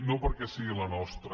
no perquè sigui la nostra